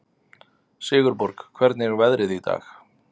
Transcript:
Sigurborg, hvernig er veðrið í dag?